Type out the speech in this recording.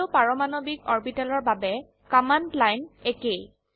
সকলো পাৰমাণবিক অৰবিটেলৰ বাবে কমান্ড লাইন একেই